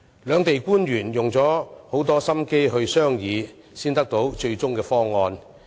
兩地官員花了很多心機進行商議，才達致最終方案。